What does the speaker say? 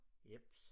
Jeps